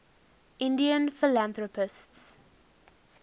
indian philanthropists